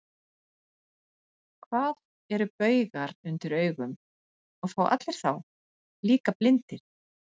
Hvað eru baugar undir augum, og fá allir þá, líka blindir?